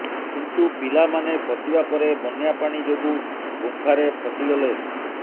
କିନ୍ତୁ ପିଲାମାନେ ପଶିବା ପରେ ବନ୍ୟା ପାଣି ଯୋଗୁଁ ଗୁମ୍ପାରେ ଫସିଗଲେ